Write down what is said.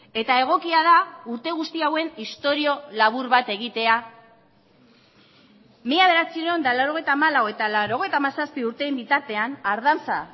eta egokia da urte guzti hauen istorio labur bat egitea mila bederatziehun eta laurogeita hamalau eta laurogeita hamazazpi urteen bitartean ardanza